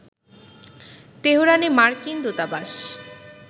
তেহরানে মার্কিন দূতাবাস